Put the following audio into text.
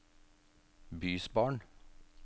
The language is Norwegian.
bysbarn